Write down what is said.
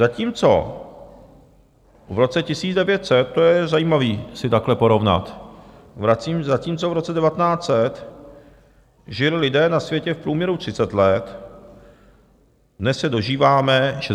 Zatímco v roce 1900, to je zajímavé si takhle porovnat, zatímco v roce 1900 žili lidé na světě v průměru 30 let, dnes se dožíváme 67 let.